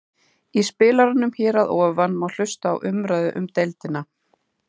Í spilaranum hér að ofan má hlusta á umræðu um deildina.